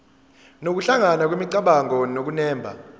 nokuhlangana kwemicabango nokunemba